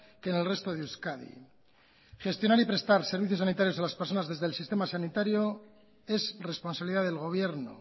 que en el resto de euskadi gestionar y prestar servicios sanitarios a las personas desde el sistema sanitario es responsabilidad del gobierno